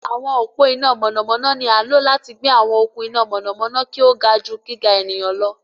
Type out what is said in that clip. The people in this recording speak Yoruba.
Àwọn ọpo iná mọnamọna ní a lo láti gbé àwọn okun iná mọnamọna kí o ga jù gíga ènìyàn lọ